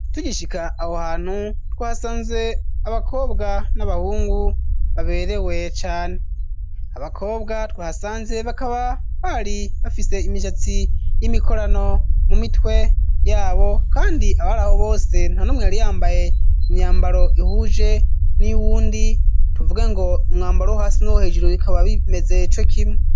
Tugishika aho hantu twahasanze abakobwa n'abahungu baberewe cane abakobwa twahasanze bakaba bari bafise imishatsi y'imikorano mu mitwe yabo, kandi abari aho bose ntanumweyari yambaye mu myambaro ihuje n'iyouwundi tuvugengo umwambaro hasi n'wo hejuru bikaba bimezeco kimwe.